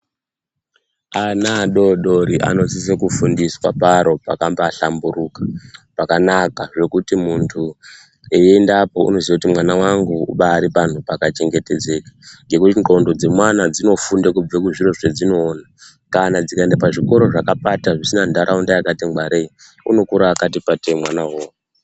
Ana adodori anosisa kufundiswa paro pakabahlamburuka pakanaka zvekuti muntu eiendapo unoziya kuti mwana wangu ubari panhu pakachengetedzeka ngekuti ndxondo dzemwana dzinofunda kubva muzviro zvadzinoona kana dzikaenda pazvikoro zvakapata zvisina nharaunda yakati ngwarei unokura akati patei mwana uwowo.